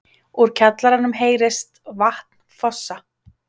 Úr kjallaranum heyrist vatn fossa.